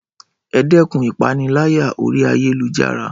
Ẹ dẹ́kun ìpániláyà oríi ayélujára